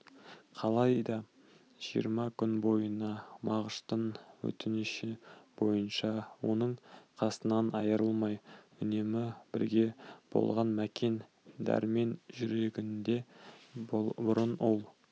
қалайда жиырма күн бойына мағыштың өтініші бойынша оның қасынан айрылмай үнемі бірге болған мәкен дәрмен жүрегінде бұрын ол